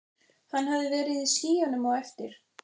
Hann hafði verið í skýjunum á eftir.